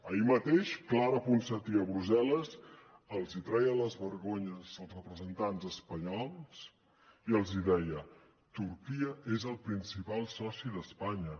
ahir mateix clara ponsatí a brussel·les els treia les vergonyes als representants espanyols i els deia turquia és el principal soci d’espanya